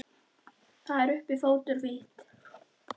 Það er uppi fótur og fit.